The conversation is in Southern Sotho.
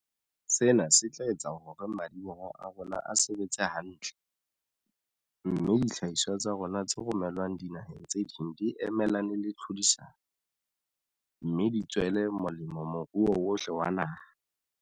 Sena se tla etsa hore madi-boho a rona a sebetse hantle, mme dihlahiswa tsa rona tse romelwang dinaheng tse ding di emelane le tlhodisano, me di tswele molemo moruo wohle wa naha.